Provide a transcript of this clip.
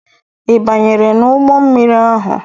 Ị banyere n'ụgbọ mmiri ahụ?